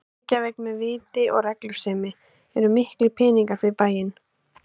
Reykjavík með viti og reglusemi eru miklir peningar fyrir bæinn.